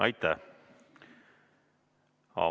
Aitäh!